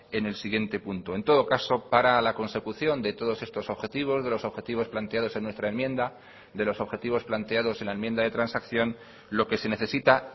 en el siguiente punto en todo caso para la consecución de todos estos objetivos de los objetivos planteados en nuestra enmienda de los objetivos planteados en la enmienda de transacción lo que se necesita